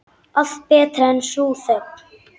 Allt betra en sú þögn.